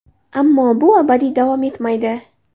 Ammo bu abadiy davom etmaydi.